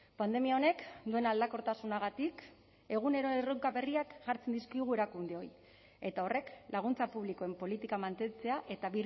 pandemia honek duen aldakortasunagatik egunero erronka berriak jartzen dizkigu erakundeoi eta horrek laguntza publikoen politika mantentzea eta